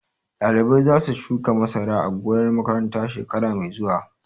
Ɗalibai za su shuka masara a gonar makaranta shekara mai zuwa